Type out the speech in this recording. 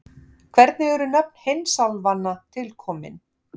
Hvernig eru nöfn heimsálfanna til komin?